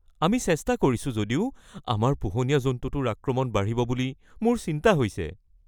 আমি চেষ্টা কৰিছো যদিও আমাৰ পোহনীয়া জন্তুটোৰ আক্ৰমণ বাঢ়িব বুলি মোৰ চিন্তা হৈছে।